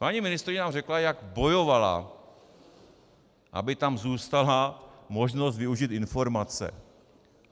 Paní ministryně nám řekla, jak bojovala, aby tam zůstala možnost využít informace.